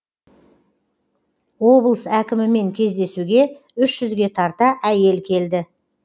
облыс әкімімен кездесуге үш жүзге тарта әйел келді